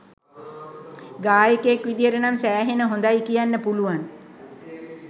ගායකයෙක් විදිහට නම් සෑහෙන හොඳයි කියන්න පුළුවන්.